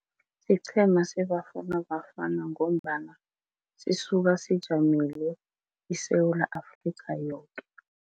Siqhema seBafana Bafana ngombana sisuka sijamele iSewula Afrika yoke.